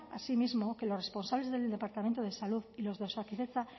asimismo que los responsables del departamento de salud y los de osakidetza